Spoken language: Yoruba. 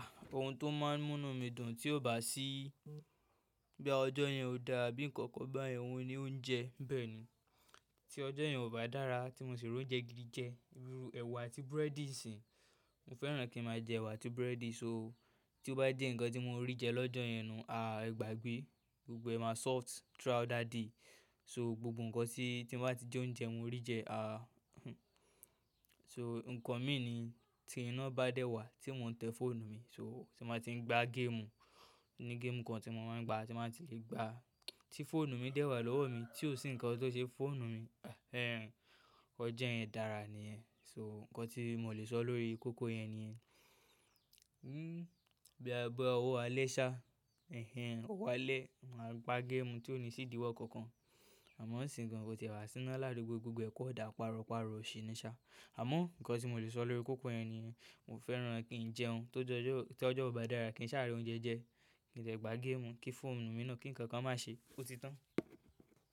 Ohun tó máa ń múnu mí dùn tí ó bá sí, boya ọjọ́ yẹn ò dáa àbí nǹkan kan bá yẹn, òun ni oúnjẹ. Bẹ́ẹ̀ ni, tí ọjo yẹn ò bá dára tí mo sì rò ounjẹ́ gidi jẹ, irú ẹwà àti búrẹ́dì nsìnyi, mo fẹ́ràn kí n máa jẹ ẹwà àti búrẹ́dì. So, tí ó bá jé ǹnkan tí mo rí jẹ lọ́jọ́ yẹn, nu, ẹ gbàgbe, gbogbo ẹ máa sort throughout that day. So gbogbo ǹnkan tí, tí n bá tí jẹ oúnjẹ mo rí jẹ. So ǹnkan mi ni tí iná bá dẹ́ wà tí mo n te fóònù mi, so tí n bá tí ń gbá game, o ni game kan tí mo máa ń gbá tí n ba ti lè gbá tí fóònù mi dẹ́wà lọ́wọ́ mi, tí ò sí nǹkan tó ṣe fóònù mi, ẹhen ọjọ́ yẹn dára niyẹn. So nǹkan tí mo lè sọ lórí kókó yẹn nìyẹn. Boya bí owọ̀ alẹ́ ṣá, ẹhen òwọ̀ alẹ́, màá gba game tí ò ní sì idíwọ́ kankan. Àmọ́ nsìǹyi gan kò tìẹ wà sína ládugbó gbogbo ẹ kan dà paro paro, òṣe ni ṣá. Àmọ́ ǹnkan tí mo lè sọ lórí kókó yẹn nìyẹn. Mo fẹ́ràn kí n jẹún tó ju ojọ o, tí ọjọ́ ò bá dára kí n sá ri oúnjẹ jẹ, kí n dè gbá game, kí fóònù mi náà, kí ǹnkan kan má ṣe ó ti tán.